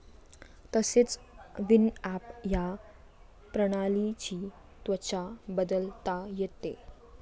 तसेच विनॲप या प्रणालीची त्वचा बदलता येते.